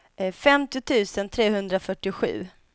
femtio tusen trehundrafyrtiosju